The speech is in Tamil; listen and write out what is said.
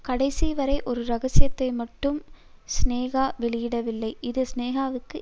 கடைசிவரை ஒரு ரகசியத்தை மட்டும் சினேகா வெளியிடவில்லை இது சினேகாவுக்கு